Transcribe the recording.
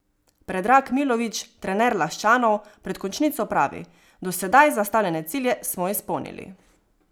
Predrag Milović, trener Laščanov, pred končnico pravi: "Do sedaj zastavljene cilje smo izpolnili.